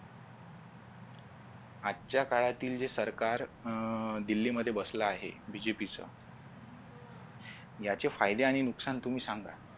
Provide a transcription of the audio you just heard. आजच्या काळातील जे सरकार अह दिल्लीमध्ये बसल आहे BJP च याचे फायदे आणि नुकसान तुम्ही सांगा.